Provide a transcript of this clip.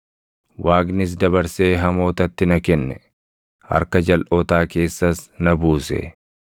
Waaqnis dabarsee hamootatti na kenne; harka jalʼootaa keessas na buuse.